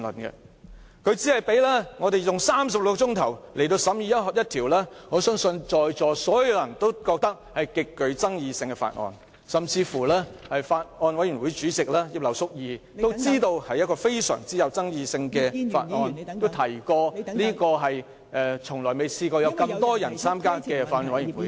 他只給予36小時，讓我們審議一項相信在座所有人也認為極具爭議的法案，甚至連法案委員會主席葉劉淑儀議員也知道這是一項極具爭議的法案，並表示從未有那麼多議員參加法案委員會。